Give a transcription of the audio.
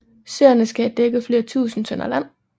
Søerne skal have dækket flere tusinde tønder land